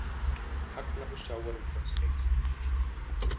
Hagnaður sjávarútvegs eykst